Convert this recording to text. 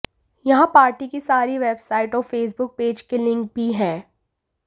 यहां पार्टी की सारी वेबसाइट्स और फेसबुक पेज के लिंक भी हैं